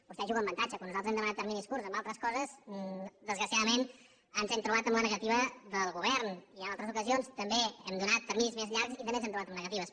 vostè juga amb avantatge quan nosaltres hem demanat terminis curts en altres coses desgraciadament ens hem trobat amb la negativa del govern i en altres ocasions també hem donat terminis més llargs i també ens hem trobat amb negatives